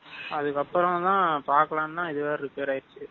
அதுக்கப்பறம் தான் பாக்கலாம்தான் இது வேற repair ஆயிருச்சு.